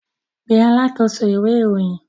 Pe alákòóso ìwé-ìròyìn!